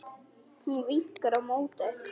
Hún vinkar á móti.